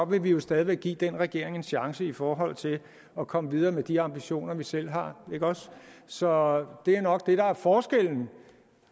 vil vi stadig væk give den regering en chance i forhold til at komme videre med de ambitioner vi selv har så det er nok det der er forskellen